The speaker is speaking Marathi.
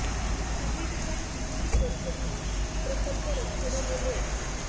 काही ठिकाणी वीस वीस वर्ष झाली प्रकल्प रखडलेले आहेत